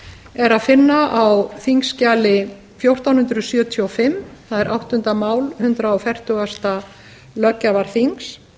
er að finna á þingskjali fjórtán hundruð sjötíu og fimm það er áttunda mál hundrað fertugasta löggjafarþings